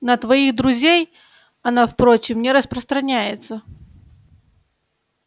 на твоих друзей она впрочем не распространяется